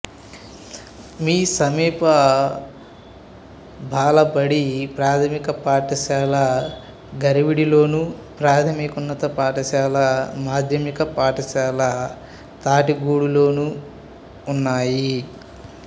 సమీప బాలబడి ప్రాథమిక పాఠశాల గరివిడిలోను ప్రాథమికోన్నత పాఠశాల మాధ్యమిక పాఠశాల తాటిగూడలోనూ ఉన్నాయి